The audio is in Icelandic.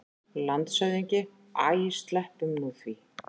LANDSHÖFÐINGI: Æ, sleppum nú því!